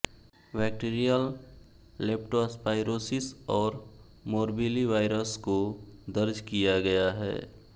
bacterial leptospirosis और morbillivirus को दर्ज किया गया है